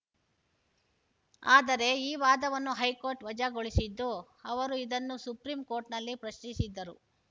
ಆದರೆ ಈ ವಾದವನ್ನು ಹೈಕೋರ್ಟ್‌ ವಜಾಗೊಳಿಸಿತ್ತು ಅವರು ಇದನ್ನು ಸುಪ್ರೀಂಕೋರ್ಟ್‌ನಲ್ಲಿ ಪ್ರಶ್ನಿಸಿದ್ದರು